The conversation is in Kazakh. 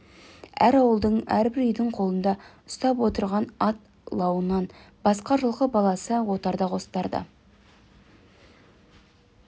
әр ауылдың әрбір үйдің қолында ұстап отырған ат лауынан басқа жылқы баласы отарда қостарда